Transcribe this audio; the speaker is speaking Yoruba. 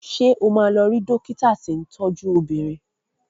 Ṣé o máa lọ rí dọ́kítà tí ń tọ́jú obìnrin?